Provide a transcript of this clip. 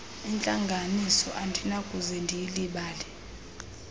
entlango andinakuze ndilulibale